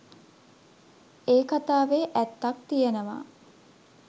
ඒ කතාවේ ඇත්තක් තියෙනවා